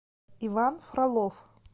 иван фролов